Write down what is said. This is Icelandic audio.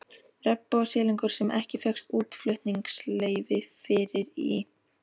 Regnbogasilungur, sem ekki fékkst útflutningsleyfi fyrir, í